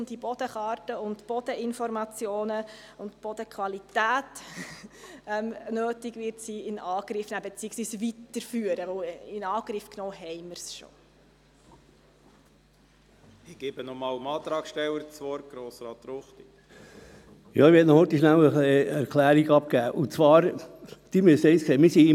Mit der ganzen Raumplanung und der ganzen Baugesetzgebung möchte eine Gemeinde endlich wissen, wo sich gute Böden befinden, wenn Bund und Kanton vorschreiben, man müsse Sorge tragen zu den Fruchtfolgeflächen, und man solle zuerst mal dort bauen, wo der Boden weniger gut ist.